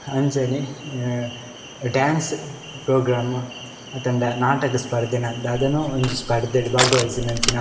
ಅಂಚನೆ ಅ dance program ಅತ್ತಂಡ ನಾಟಕ ಸ್ಪರ್ಧೆ ನ ದಾದನೋ ಒಂಜಿ ಸ್ಪರ್ಧೆಡ್ ಭಾಗವಹಿಸಿನಂಚಿನ.